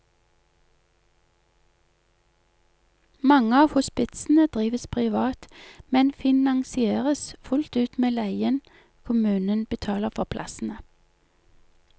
Mange av hospitsene drives privat, men finansieres fullt ut med leien kommunen betaler for plassene.